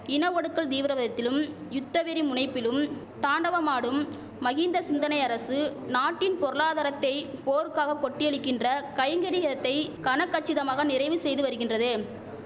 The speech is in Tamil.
இன ஒடுக்கல் தீவிரவதத்திலும் யுத்தவெறி முனைப்பிலும் தாண்டவமாடும் மஹிந்த சிந்தனை அரசு நாட்டின் பொருளாதாரத்தை போருக்காக கொட்டியழிக்கின்ற கைங்கரியத்தை கனகச்சிதமாக நிறைவு செய்து வருகின்றது